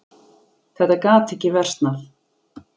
Þetta gat ekki versnað.